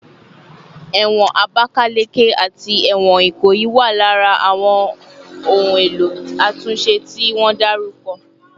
Ewon Abakaleke ati ewon Ikoyi wa lara awon ohun elo atunse ti won daruko